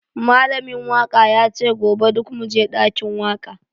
Malamin waka yace gobe duk muje dakin waka